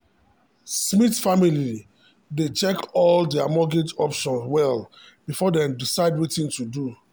smith family dey check all their mortgage options well before dem decide wetin to do.